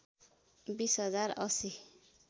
२० हजार ८०